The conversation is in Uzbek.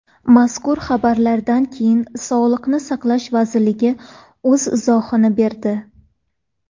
Mazkur xabarlardan keyin Sog‘liqni saqlash vazirligi o‘z izohini berdi .